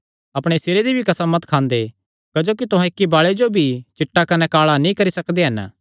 अपणे सिरे दी भी कसम मत खांदे क्जोकि तुहां इक्की बाले जो भी चिट्टा कने काल़ा नीं करी सकदे हन